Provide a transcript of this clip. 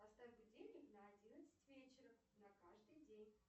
поставь будильник на одиннадцать вечера на каждый день